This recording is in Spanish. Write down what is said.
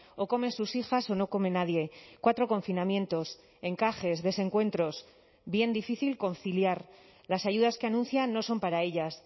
o comen sus hijas o no come nadie cuatro confinamientos encajes desencuentros bien difícil conciliar las ayudas que anuncian no son para ellas